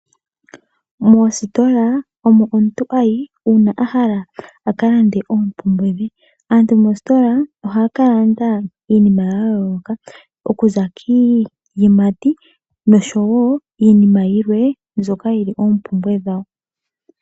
Moositola omo omuntu hayi uuna ahala kulanda oompumbwedhe .aantu moskola ohaakalanda iinima yayooloka kuza kiiyimati nosho woo iinima yilwe nzoka yili oombumbwe dhawo